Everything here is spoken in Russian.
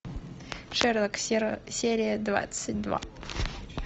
шерлок серия двадцать два